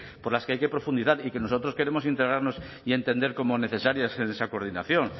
por las que hay que profundizar y que nosotros queremos integrarnos y entender como necesarias en esa coordinación